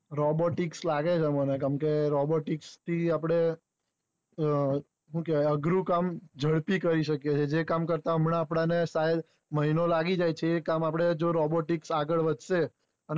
robotics લાગે છે મને કેમ કે robotics આપડે આ અઘરું કામ ઝડપી કરી શકીયે કે કામ કરતા હમણાં આપડે મહિનો લાગી જાય છે એ કામ આપણે જો આપણે robotics આગળ વધશે